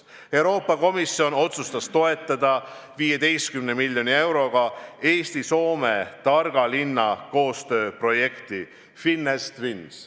Euroopa Komisjon otsustas toetada 15 miljoni euroga Eesti-Soome targa linna koostööprojekti FinEst Twins.